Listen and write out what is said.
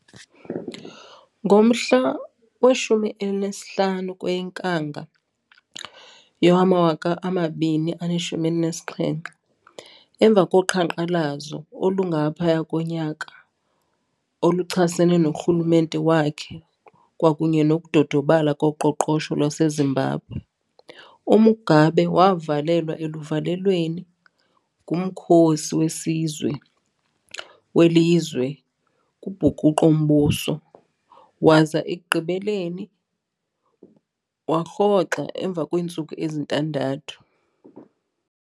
Ngomhla we-15 kweyeNkanga yowama-2017, emva koqhanqalazo olungaphaya konyaka oluchasene norhulumente wakhe kwakunye nokudodobala koqoqosho lwaseZimbabwe, uMugabe wavalelwa eluvalelweni ngumkhosi wesizwe welizwe kubhukuqo-mbuso waza ekugqibeleni warhoxa emva kweentsuku ezintandathu.